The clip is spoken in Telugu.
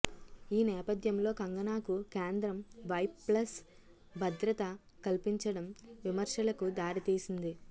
ఈ నేపథ్యంలో కంగనాకు కేంద్రం వై ప్లస్ భద్రత కల్పించడం విమర్శలకు దారి తీసింది